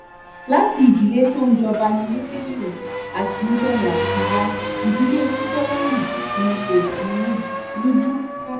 láti ìdílé tó ń jọba ni musiliu akijanya ti wá ìdílé kúpọlọyí ni kò sì rújú rárá